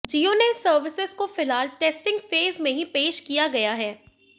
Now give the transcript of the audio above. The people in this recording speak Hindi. जियो ने इस सर्विस को फिलहाल टेस्टिंग फेज में ही पेश किया गया है